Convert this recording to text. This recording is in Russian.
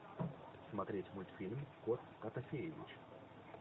смотреть мультфильм кот котофеевич